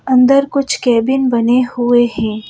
अंदर कुछ कैबिन बने हुए हैं।